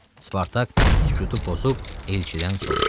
Spartak sükutu pozub elçidən soruşdu: